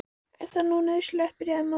Er þetta nú nauðsynlegt, byrjaði mamma.